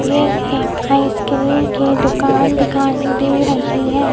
यह एक आइसक्रीम की दुकान दिखाई दे रही है।